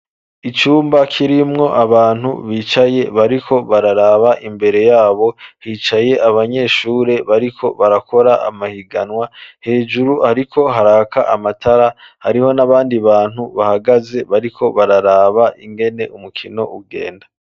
Icumba kirimwo abantu bicaye bariko bararaba imbere yabo, hicaye abanyeshure bariko barakora amahiganwa, hejuru hariko haraka amatara, hariho n'abandi bantu bahagaze bariko bararaba ingene umukino ugenda.